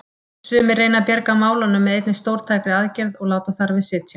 Sumir reyna að bjarga málunum með einni stórtækri aðgerð og láta þar við sitja.